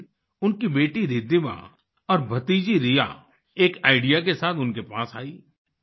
एक दिन उनकी बेटी रिद्धिमा और भतीजी रिया एक आईडीईए के साथ उनके पास आई